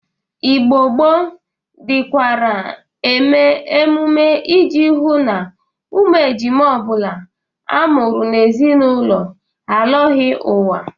Igbo gboo dịkwara eme ememe ị ji hụ na ụmụ ejima ọ bụla a mụrụ n'ime ezinaụlọ alọghị ụwa.